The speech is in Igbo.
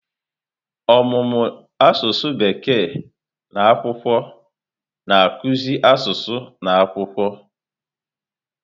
Ọmụmụ asụsụ Bekee na akwụkwọ na-akụzi asụsụ na akwụkwọ.